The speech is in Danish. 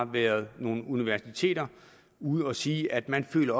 været nogle universiteter ude at sige at man føler